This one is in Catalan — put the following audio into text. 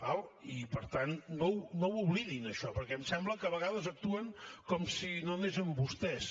d’acord i per tant no ho oblidin això perquè em sembla que a vegades actuen com si no anés amb vostès